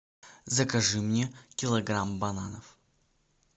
закажи мне килограмм бананов